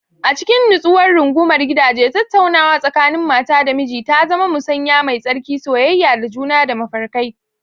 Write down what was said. A cikin nutsuwar rungumar gidaje, tattaunawa tsakanin mata da miji ta zama musanya mai tsarki, soyayya da juna da mafarkai.